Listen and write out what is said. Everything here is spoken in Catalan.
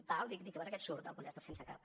tal dic a veure què et surt del pollastre sense cap